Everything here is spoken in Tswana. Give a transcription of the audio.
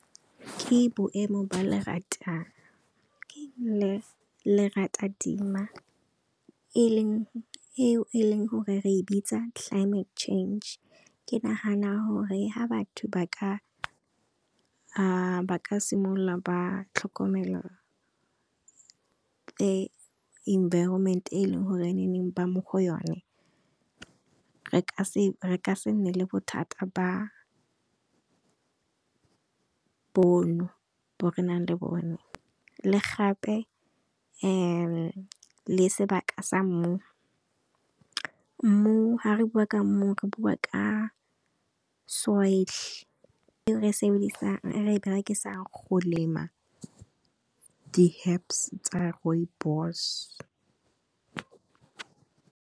ke boemo dimela e leng gore re e bitsa climate change ke nagana gore ha batho ba ka simolola ba tlhokomela, inviroment eleng gore ene neng ba mo go yone re ka se nne le bothata bo no bo re nang le bone. Le gape le sebaka sa mmu, mmu ha re bua ka mmu re bua ka soil e re e berekisang go lema di herbs tsa Rooibos.